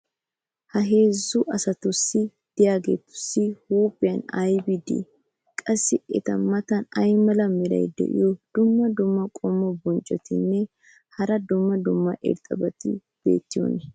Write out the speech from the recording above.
ha heezzu asati diyaageetussi huuphiyan aybbi de'ii? qassi eta matan ay mala meray diyo dumma dumma qommo bonccotinne hara dumma dumma irxxabati beetiyoonaa?